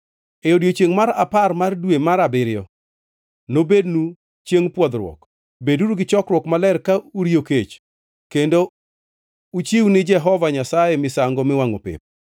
“E odiechiengʼ mar apar mar dwe mar abiriyo nobednu Chiengʼ Pwodhruok. Beduru gi chokruok maler ka uriyo kech, kendo uchiw ni Jehova Nyasaye misango miwangʼo pep.